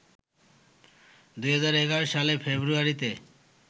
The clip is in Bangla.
২০১১ সালের ফেব্রুয়ারিতে